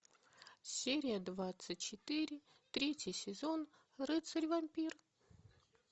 серия двадцать четыре третий сезон рыцарь вампир